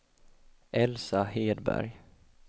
Elsa Hedberg